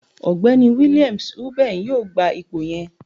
Ọgbẹni Williams Uben yoo gba ipo yẹn.